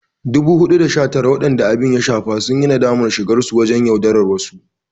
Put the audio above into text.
419 waɗanda abin ya shafa sun yi nadamar shigarsu wajen yaudarar wasu.